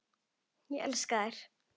Ég elska þær.